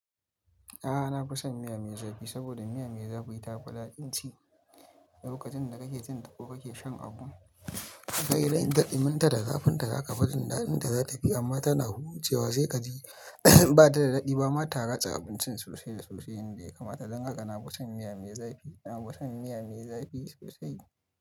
A'a, na fi son miya me zafi saboda miya me zafi ta fi daɗin ci lokacin da kake cin tago kake shan abu. Kai dai idan ka ɗiminta da zafin ta, zaka fi jin dadinta zata fi amma tana hucewa cewa sai kaji ba ta da daɗi ba. Mata gatsa abincin sosai sosai inda ya kamata. Dan haka na fi son miya me zafi. Na fi son miya me zafi sosai.